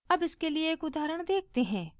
अब इसके लिए एक उदाहरण देखते हैं